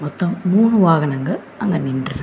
மொத்தம் மூணு வாகனங்கள் அங்க நின்றுருக் --